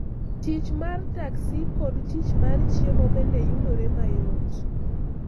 Tich mar taxi kod tich mar chiemo bende yudore mayot.